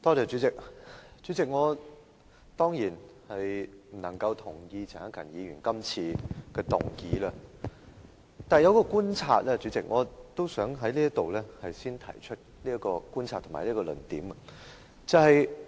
主席，我當然不能同意陳克勤議員今次提出的議案，但有一觀察我想先在此提出並闡明我的論點。